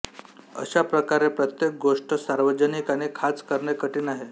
अशा प्रकारे प्रत्येक गोष्ट सार्वजनिक आणि खाच करणे कठीण आहे